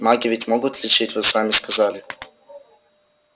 маги ведь могут лечить вы сами сказали